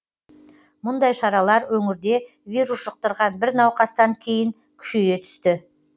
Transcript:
мұндай шаралар өңірде вирус жұқтырған бір науқастан кейін күшейе түсті